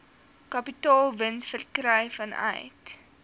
kapitaalwins verkry vanuit